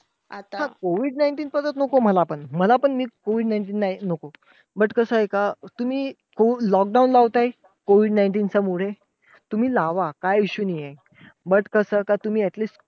हा! COVID nineteen परत नको मला पण. मला पण COVID nineteen नाही नको. But कसंय का तुम्ही lockdown लावताय. COVID nineteen च्या मुळे, तुम्ही लावा काही issue नाही आहे. But कसंय का तुम्ही at least